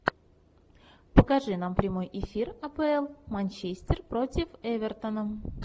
покажи нам прямой эфир апл манчестер против эвертона